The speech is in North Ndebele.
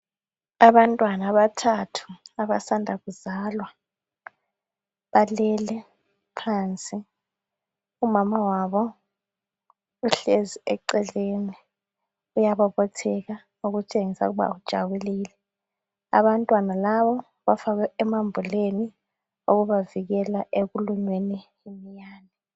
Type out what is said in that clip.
abantwana abathathu abasanda kuzalwa balele phansi umama wabo uhlezi eceleni uyaba uyabobotheka okutshengisa ukuba ujabulile abantwana laba bafakwe emambuleni ukubavikela ekulunyweni yiminyane